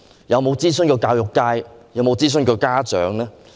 有否諮詢教育界和家長？